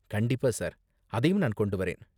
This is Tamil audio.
கண்டிப்பா, சார்! அதையும் நான் கொண்டு வரேன்.